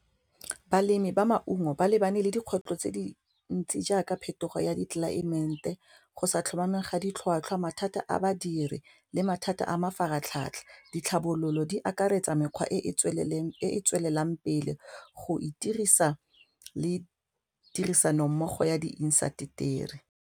Balemi ba maungo ba lebane le dikgwetlho tse dintsi jaaka phetogo ya tlelaemete go sa tlhomamang ga ditlhwatlhwa mathata a badiri le mathata a mafaratlhatlha, ditlhabololo di akaretsa mekgwa e e tswelelang e e tswelelang pele go itirisa le tirisanommogo ya di intaseteri.